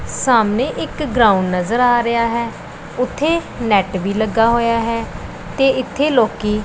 ਸਾਹਮਣੇ ਇੱਕ ਗਰਾਊਂਡ ਨਜ਼ਰ ਆ ਰਿਹਾ ਹੈ ਉੱਥੇ ਨੈੱਟ ਵੀ ਲੱਗਾ ਹੋਇਆ ਹੈ ਤੇ ਏੱਥੇ ਲੋੱਕੀ--